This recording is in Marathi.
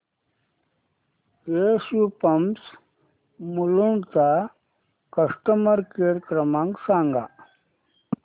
एसयू पंप्स मुलुंड चा कस्टमर केअर क्रमांक सांगा